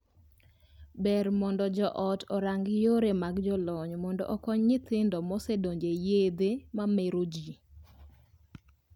Ber mondo joot orang yore mag jolony mondo okonyo nyithindo mosedonje yedhe ma mero jii.